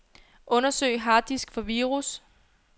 Undersøg harddisk for virus.